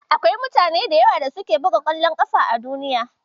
Akwai mutane da yawa da suke buga ƙwallon ƙafa a Duniya.